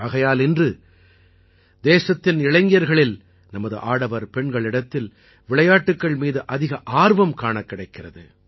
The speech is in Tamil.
ஆகையால் இன்று தேசத்தின் இளைஞர்களில் நமது ஆடவர் பெண்களிடத்தில் விளையாட்டுக்கள் மீது அதிக ஆர்வம் காணக் கிடைக்கிறது